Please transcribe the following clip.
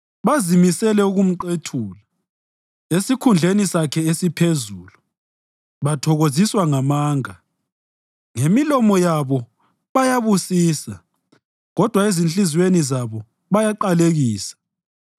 Bazimisele ukumqethula esikhundleni sakhe esiphezulu; bathokoziswa ngamanga. Ngemilomo yabo bayabusisa, kodwa ezinhliziyweni zabo bayaqalekisa.